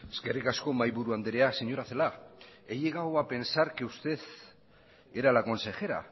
eskerrik asko mahaiburu andrea señora celaá he llegado a pensar que usted era la consejera